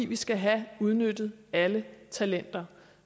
vi skal have udnyttet alle talenter